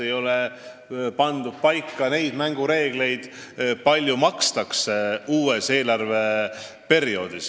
Ei ole paika pandud neid mängureegleid, kui palju makstakse uuel eelarveperioodil.